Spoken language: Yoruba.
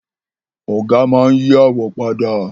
Ọ̀gá máa n yí àwo padà